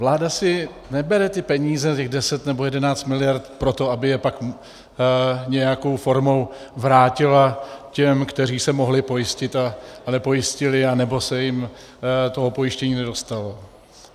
Vláda si nebere ty peníze, těch 10 nebo 11 miliard proto, aby je pak nějakou formou vrátila těm, kteří se mohli pojistit a nepojistili anebo se jim toho pojištění nedostalo.